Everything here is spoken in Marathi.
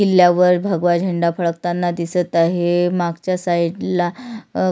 किल्ल्या वर भगवा झेंडा फडकताना दिसत आहे मागच्या साईडला अ--